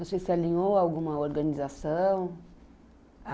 Você se alinhou a alguma organização?